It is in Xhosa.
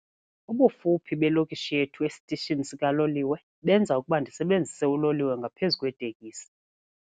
Ubufuphi belokishi yethu esitishini sikaloliwe benza ukuba ndisebenzise uloliwe ngaphezu kweetekisi.